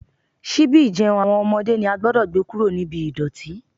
Ṣíbí ìjẹun àwọn ọmọdé ni a gbúdọ̀ gbé kúrò ní ibi ìdọ̀tí.